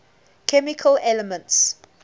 chemical elements